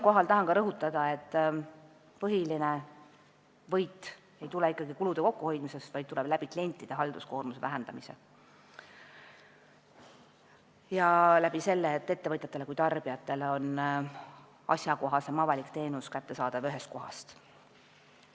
Tahan rõhutada, et põhiline võit ei tule ikkagi kulude kokkuhoidmisest, vaid klientide halduskoormuse vähendamise kaudu ja seetõttu, et ettevõtjatele ja tarbijatele on asjakohasem avalik teenus kättesaadav ühest kohast.